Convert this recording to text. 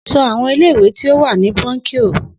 So àwọn ilé ìwé tí ó wà nínú brónkíò